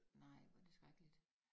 Nej hvor det skrækkeligt